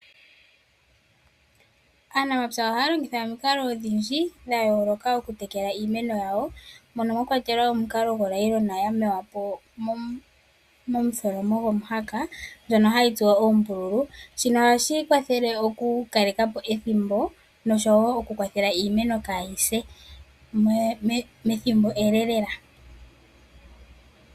Aanamapya ohaya longitha omikalo odhindji dha yooloka okutekela iimeno yawo, mono mwa kwatelwa omukalo gonayilona ndjono ya mewa po momutholomo gomuhaka, ndjono hayi tsuwa oombululu. Shino ohashi kwathele okukaleka po ethimbo nosho wo okukwathela iimeno kaayi se methimbo ele lela.